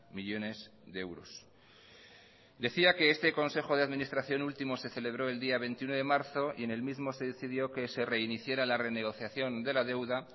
millónes de euros decía que este consejo de administración último se celebró el día veintiuno de marzo y en el mismo se decidió que se reiniciara la renegociación de la deuda